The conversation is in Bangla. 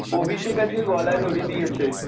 অভিষেক আজকে গলায় দড়ি দিয়েছে।